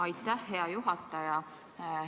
Aitäh, hea juhataja!